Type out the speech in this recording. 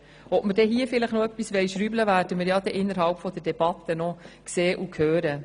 Ob wir diesbezüglich noch etwas «schrauben» wollen, werden wir innerhalb der Debatte noch sehen und hören.